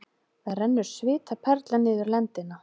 Það rennur svitaperla niður lendina.